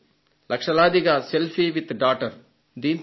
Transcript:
లక్షలాదిగా selfie with daughter ను అనుసరించారు